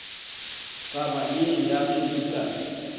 taba ye ya ge lukas